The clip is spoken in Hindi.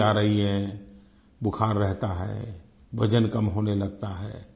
ख़ासी आ रही है बुखार रहता है वज़न कम होने लगता है